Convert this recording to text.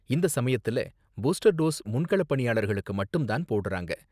இந்த சமயத்துல booster dose முன்களப் பணியாளர்களுக்கு மட்டும் தான் போடுறாங்க.